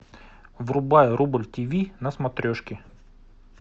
врубай рубль тиви на смотрешке